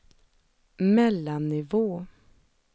mellannivå